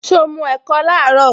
So mu ẹ̀kọ laaro?